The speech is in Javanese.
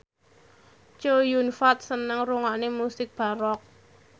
Chow Yun Fat seneng ngrungokne musik baroque